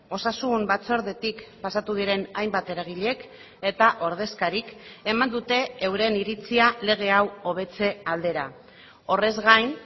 osasun batzordetik pasatu diren hainbat eragilek eta ordezkarik eman dute euren iritzia lege hau hobetze aldera horrez gain